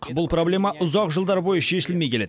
бұл проблема ұзақ жылдар бойы шешілмей келеді